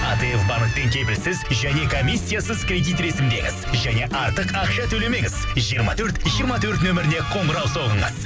атф банктен кепілсіз және комиссиясыз кредит ресімдеңіз және артық ақша төлемеңіз жиырма төрт жиырма төрт нөміріне қоңырау соғыңыз